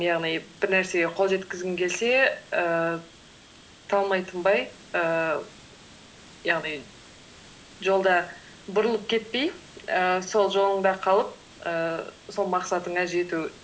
яғни бір нәрсеге қол жеткізгің келсе ііі талмай тынбай ііі яғни жолда бұрылып кетпей ііі сол жолыңда қалып ііі сол мақсатыңа жету